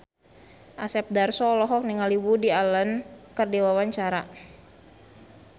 Asep Darso olohok ningali Woody Allen keur diwawancara